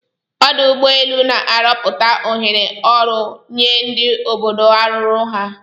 Ọdụ ụgbọ elu na-arọpụta ohere ọrụ nye ndi obodo arụrụ ha.